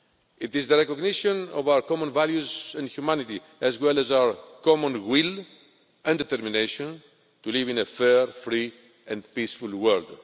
It is the recognition of our common values and humanity, as well as our common will and determination to live in a fair, free and peaceful world.